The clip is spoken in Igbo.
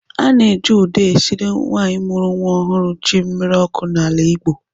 A na-eji ụda esiri nwaanyị mụrụ nwa ọhụrụ ji mmiri ọkụ n'ala Igbo.